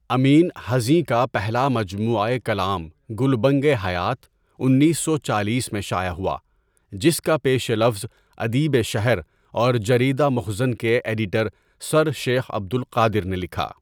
امینؔ حزیں کا پہلا مجموعۂ کلام گلبنگِ حیات انیس سو چالیس میں شائع ہوا جس کا پیش لفظ ادیبِ شہر اور جریدہ مخزن کے ایڈیٹر سرشیخ عبدالقادر نے لکھا.